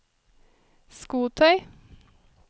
skotøy